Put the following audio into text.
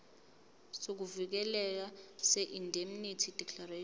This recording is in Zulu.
sokuvikeleka seindemnity declaration